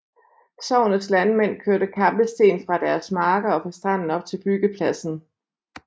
Sognets landmænd kørte kampesten fra deres marker og fra stranden op til byggepladsen